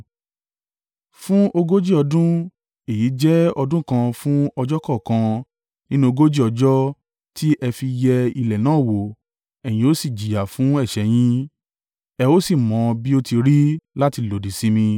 Fún ogójì ọdún èyí jẹ́ ọdún kan fún ọjọ́ kọ̀ọ̀kan nínú ogójì ọjọ́ tí ẹ fi yẹ ilẹ̀ náà wò ẹ̀yin ó sì jìyà fún ẹ̀ṣẹ̀ yín, ẹ ó sì mọ bí ó ti rí láti lòdì sí mi.